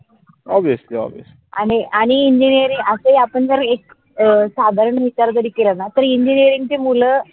आणि आणि engineering असे आपण जर एक साधारण विचार जरी केलन तरी engineering चे मुल